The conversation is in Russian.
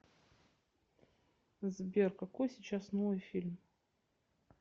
сбер какой сейчас новый фильм